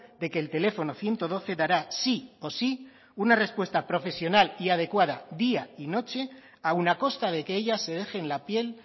de que el teléfono ciento doce dará sí o sí una respuesta profesional y adecuada día y noche aún a costa de que ellas se dejen la piel